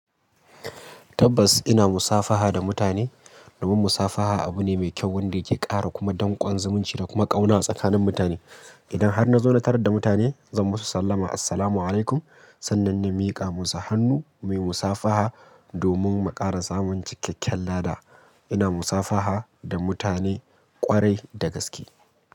Tabbas ina musafaha da mutane. Domin musafaha abu ne mai kyau wanda yake ƙara kuma danƙon zumunci da kuma ƙauna tsakanin mutane. Idan har na zauna tare da mutane zan musu sallama Assalamualaikum. Sannan na miƙa musu hannu muyi musafaha domin mu ƙara zamunci kyakkyal ada. Ina musafaha da mutane ƙwarai da gaske.